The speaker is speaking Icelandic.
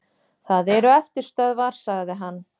Það eru eftirstöðvar, sagði hann.